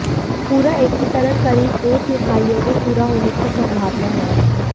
पूरा एकीकरण करीब दो तिमाहियों में पूरा होने की संभावना है